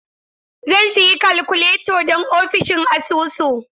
Zan sayi kalkuleta don ofishin asusu.